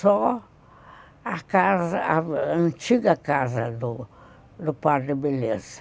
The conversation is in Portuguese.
Só a casa, a antiga casa do padre Beleza.